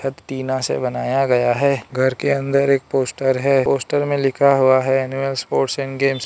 टीना से बनाया गया है घर के अंदर एक पोस्टर है पोस्टर में लिखा हुआ है एनुअल स्पोर्ट्स एंड गेम्स ।